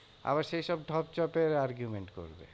আবার সেইসব ঢপ চপের argument করবে।